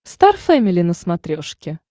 стар фэмили на смотрешке